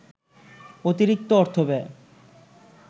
অতিরিক্ত অর্থব্যয়